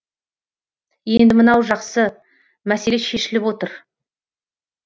енді мынау жақсы мәселе шешіліп отыр